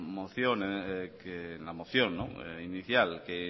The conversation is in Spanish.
moción inicial que